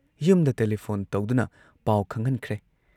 ꯌꯨꯝꯗ ꯇꯦꯂꯤꯐꯣꯟ ꯇꯧꯗꯨꯅ ꯄꯥꯎ ꯈꯪꯍꯟꯈ꯭ꯔꯦ ꯫